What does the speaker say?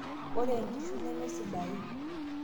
ore enkishui nemesidai